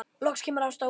Loksins kemur Ása út.